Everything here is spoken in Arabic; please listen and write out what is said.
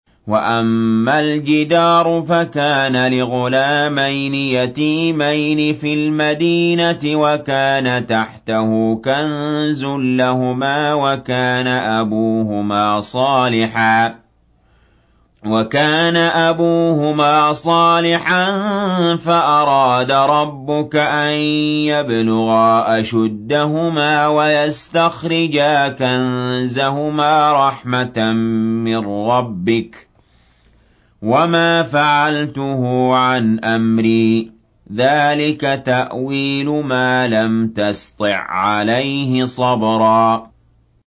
وَأَمَّا الْجِدَارُ فَكَانَ لِغُلَامَيْنِ يَتِيمَيْنِ فِي الْمَدِينَةِ وَكَانَ تَحْتَهُ كَنزٌ لَّهُمَا وَكَانَ أَبُوهُمَا صَالِحًا فَأَرَادَ رَبُّكَ أَن يَبْلُغَا أَشُدَّهُمَا وَيَسْتَخْرِجَا كَنزَهُمَا رَحْمَةً مِّن رَّبِّكَ ۚ وَمَا فَعَلْتُهُ عَنْ أَمْرِي ۚ ذَٰلِكَ تَأْوِيلُ مَا لَمْ تَسْطِع عَّلَيْهِ صَبْرًا